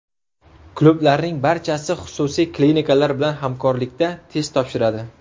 Klublarning barchasi xususiy klinikalar bilan hamkorlikda test topshiradi.